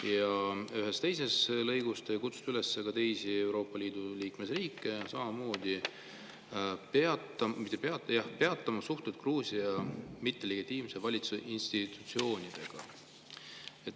Ja ühes teises lõigus te kutsute üles ka teisi Euroopa Liidu liikmesriike samamoodi peatama suhted Gruusia mittelegitiimse valitsuse institutsioonidega.